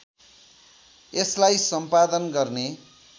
यसलाई सम्पादन गर्ने